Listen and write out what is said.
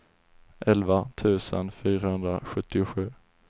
elva tusen fyrahundrasjuttiosju